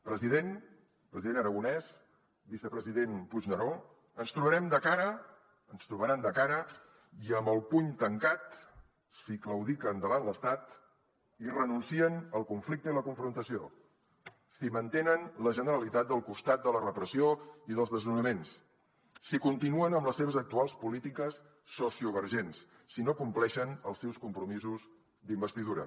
president president aragonès vicepresident puigneró ens trobarem de cara ens trobaran de cara i amb el puny tancat si claudiquen davant l’estat i renuncien al conflicte i la confrontació si mantenen la generalitat del costat de la repressió i dels desnonaments si continuen amb les seves actuals polítiques sociovergents si no compleixen els seus compromisos d’investidura